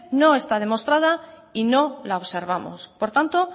no está demostrada y no la observamos por tanto